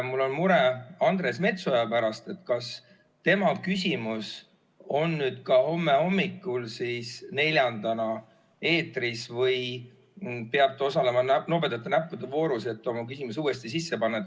Mul on mure Andres Metsoja pärast, et kas tema küsimus on nüüd ka homme hommikul neljandana eetris või peab ta osalema nobedate näppude voorus, et oma küsimus uuesti sisse panna.